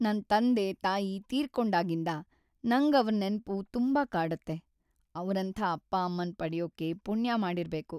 ನನ್ ತಂದೆ-ತಾಯಿ ತೀರ್ಕೊಂಡಾಗಿಂದ ನಂಗ್‌ ಅವ್ರ್‌ ನೆನ್ಪು ತುಂಬಾ ಕಾಡತ್ತೆ. ಅವ್ರಂಥ ಅಪ್ಪ-ಅಮ್ಮನ್‌ ಪಡ್ಯೋಕೆ ಪುಣ್ಯ ಮಾಡಿರ್ಬೇಕು.